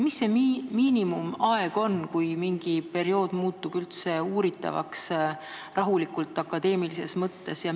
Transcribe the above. Kui pikk võiks olla miinimumaeg, enne kui mingi periood muutub rahulikult, akadeemilises võtmes uuritavaks?